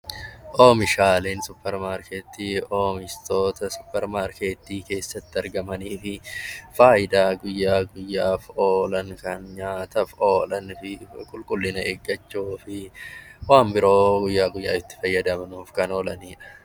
Oomishaaleen suupparmaarkeetii oomishtoota suupparmaarkeetii keessatti argamanii fi fayidaa biyyaaf oolan , nyaataaf oolanii fi qulqullina eeggachuu fi waan biroo guyyaa guyyaan itti fayyadamaniif kan oolanidha